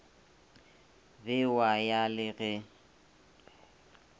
be wa ya le ge